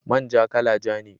Man ja, kala ja ne